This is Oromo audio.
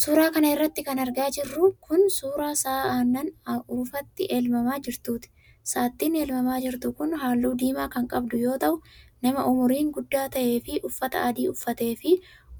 Suura kana irratti kan argaa jirru kun, suura sa'a aannan urufatti elmamaa jirtuuti. saattin elmamaa jirtu kun, haalluu diimaa kan qabdu yoo ta'u, nama umuriin guddaa ta'ee fi uffataa adii uffatee fi